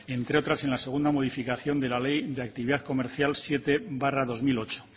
entre otras en la segunda modificación de la ley de actividad comercial siete barra dos mil ocho